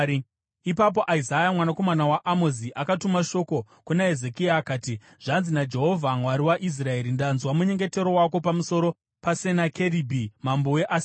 Ipapo Isaya mwanakomana waAmozi akatuma shoko kuna Hezekia akati, “Zvanzi naJehovha: Mwari waIsraeri: Ndanzwa munyengetero wako pamusoro paSenakeribhi mambo weAsiria.